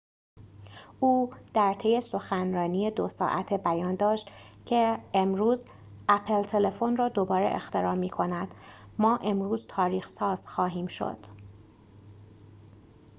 او در طی سخنرانی ۲ ساعته بیان داشت که امروز اپل تلفن را دوباره اختراع می کند ما امروز تاریخ ساز خواهیم شد